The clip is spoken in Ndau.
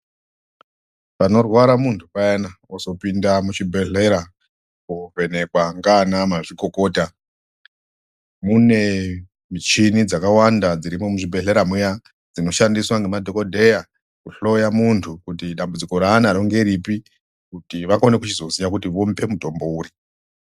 Panorwara muntu payana kuzopinda muchibhedhlera kovhenekwa ngana mazvikokota mune michini dzakawanda dzirimo muzvibhedhlera mbuya dzinoshandiswa ngemadhokodheya kuhloya muntu kuti dambudziko raanaro ngerepi kuti vakone kichizoziya kuti vamupe mutombo upi.